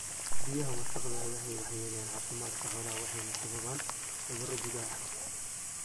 Biyaha wasakhda ahi waxay waxyeeleeyaan caafimaadka xoolaha, waxayna sababaan cudurro gudaha ah.